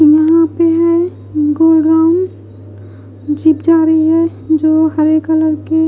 यहाँ पे है गोल्ड राउन जीप जा रही है जो हरे कलर के--